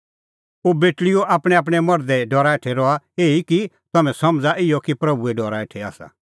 ओ बेटल़ीओ आपणैंआपणैं मर्धे डरा हेठै रहा एही कि तम्हैं समझ़ै इहअ कि प्रभूए डरा हेठै आसा